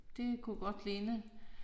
Det kunne godt ligne